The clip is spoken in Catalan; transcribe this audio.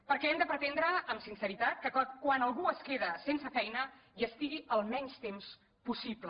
perquè hem de pretendre amb sinceritat que quan algú es queda sense feina hi estigui el menys temps possible